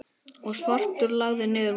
og svartur lagði niður vopnin.